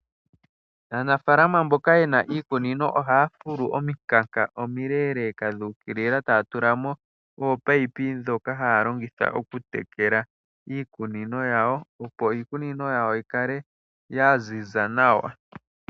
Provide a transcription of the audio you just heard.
Aanafalama mbokaya yena iikunino ohaya fulu omikanka omiileleka dhuukilila taya tulamo oopayipi dhoka haya longitha okutekela iikunino yawo opo iikunino yawo yikale yaziza nawa.